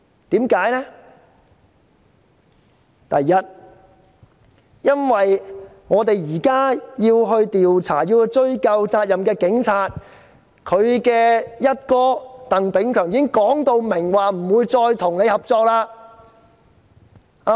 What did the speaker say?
第一，因為我們現在要調查警察和追究警察的責任，但警隊"一哥"鄧炳強已經表明不會繼續合作。